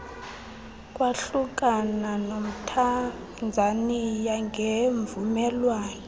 kwahlukana nomthanzaniya ngemvumelwano